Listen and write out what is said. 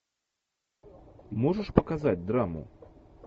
можешь показать драму